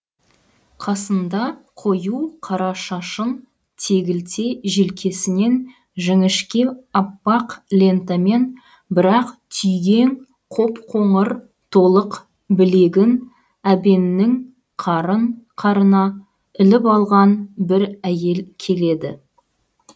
қасыңда қою қара шашын тегілте желкесінен жіңішке аппақ лентамен бір ақ түйгең қоп қоңыр толық білегін әбеннің қарына іліп алған бір әйел келеді